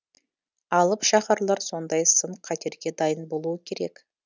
алып шаһарлар сондай сын қатерге дайын болуы керек